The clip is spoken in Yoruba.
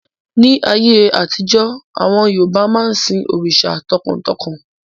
Ní ayé àtijọ́, àwọn Yorùbá máa ń sin òrìṣà tọkàntọkàn